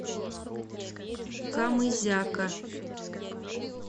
камызяка